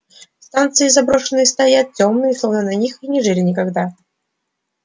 станции заброшенные стоят тёмные словно на них и не жили никогда